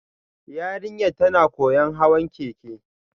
Yarinyar tana koyon hawan keke